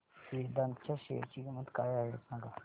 वेदांत च्या शेअर ची किंमत काय आहे सांगा